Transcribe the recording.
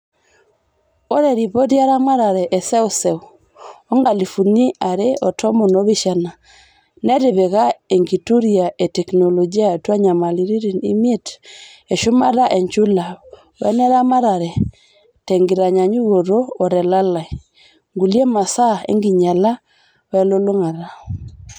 "Ore ripoti eramatare e seuseu o nkalifuni are o tomon opishana netipika enkituria e teknoloji atua nyamalitin imiet e shumata enchula weneramatare tenkitanyanyukoto o telalai, ngulia masaa enkinyala e lulongata.